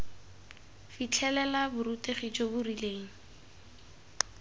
fitlhelela borutegi jo bo rileng